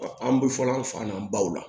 An bɛ fɔ an fa na baw la